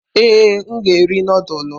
Ee, m ga-eri nudulu.